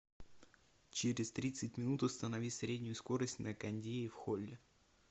через тридцать минут установи среднюю скорость на кондее в холле